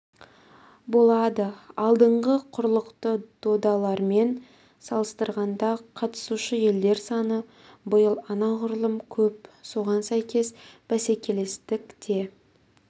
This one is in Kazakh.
болады алдыңғы құрлықты додалармен салыстырғанда қатысушы елдер саны биыл анағұрлым көп соған сәйкес бәсекелестік те